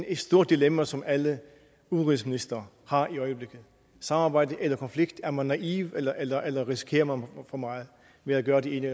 et stort dilemma som alle udenrigsministre har i øjeblikket samarbejde eller konflikt er man naiv eller eller risikerer man for meget ved at gøre det ene